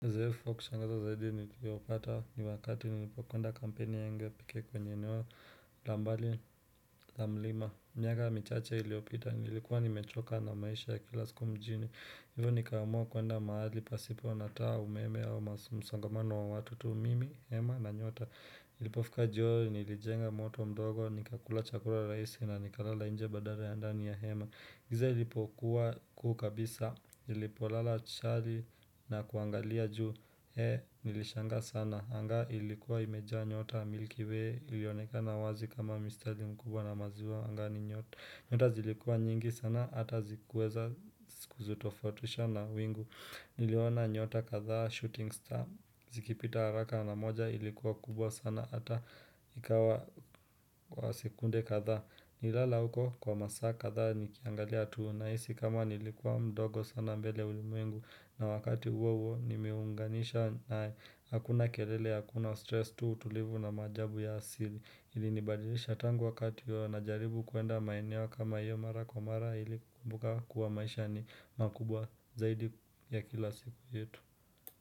Uzoefu wa kushangaza zaidi niliopata ni wakati nilipokwenda kampeni yangu ya pekee kwenye eneo la mbali la mlima. Miaka michache iliyopita, nilikuwa nimechoka na maisha ya kila siku mjini. Hivo nikaamua kuenda mahali pasipo na taa umeme au msongamano wa watu tu mimi, hema na nyota. Ilipofika jioo, nilijenga moto mdogo, nikakula chakula raisi na nikalala inje badara ya ndani ya hema. Giza ilipokuwa kuu kabisa, nilipolala chali na kuangalia juu, hee nilishangaa sana, anga ilikuwa imejaa nyota miliki we ilionekana wazi kama mistari mkubwa na maziwa angani nyota Nyota zilikuwa nyingi sana, ata zikuweza kuzitofatisha na wingu, niliona nyota kadhaa shooting star, zikipita haraka na moja ilikuwa kubwa sana, ata ikawa kwa sekunde kadhaa Nilala huko kwa masaa kadhaa nikiangalia tu nahisi kama nilikuwa mdogo sana mbele ya ulimwengu na wakati uwo uwo nimeunganisha nae hakuna kelele hakuna stress tu utulivu na maajabu ya asili ilinibadilisha tangu wakati huyo najaribu kuenda maeneo kama hiyo mara kwa mara ili kukumbuka kuwa maisha ni makubwa zaidi ya kila siku yetu.